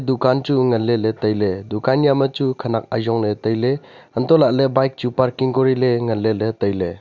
dukan chu ngan leley tailey dukan yawma chu khenak ayongley tailey untoh lahley bike chu parking koriley ngan leley tailey.